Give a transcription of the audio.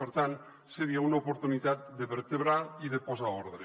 per tant seria una oportunitat de vertebrar i de posar ordre